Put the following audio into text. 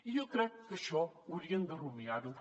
i jo crec que això haurien de rumiar ho